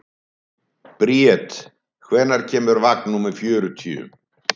Bríet, hvenær kemur vagn númer fjörutíu?